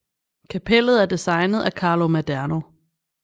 Kapellet er designet af Carlo Maderno